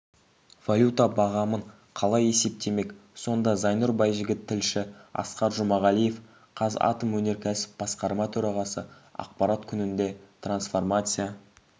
валюта бағамын қалай есептемек сонда зайнұр байжігіт тілші асқар жұмағалиев қазатомөнеркәсіп басқарма төрағасы ақпарат күнінде трансформация